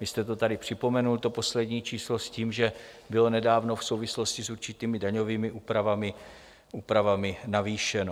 Vy jste to tady připomenul, to poslední číslo, s tím, že bylo nedávno v souvislosti s určitými daňovými úpravami navýšeno.